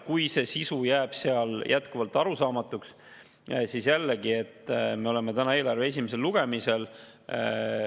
Kui sisu jääb jätkuvalt arusaamatuks, siis jällegi, et me oleme täna eelarve esimesel lugemisel.